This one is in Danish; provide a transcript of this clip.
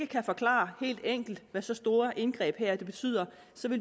kan forklare helt enkelt hvad så store indgreb betyder